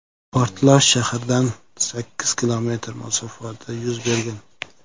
Portlash shahardan sakkiz kilometr masofada yuz bergan.